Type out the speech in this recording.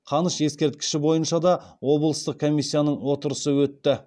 қаныш ескерткіші бойынша да облыстық комиссияның отырысы өтті